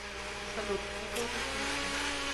салют это уже слишком